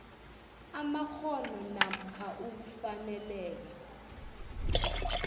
amakghono namkha ukufaneleka